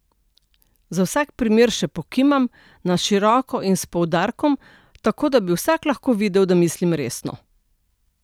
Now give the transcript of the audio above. Za vsak primer še pokimam, na široko in s poudarkom, tako da bi vsak lahko videl, da mislim resno.